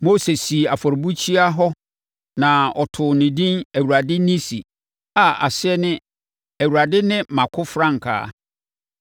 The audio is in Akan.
Mose sii afɔrebukyia hɔ na ɔtoo no edin Awurade Nissi a aseɛ ne Awurade ne mʼakofrankaa.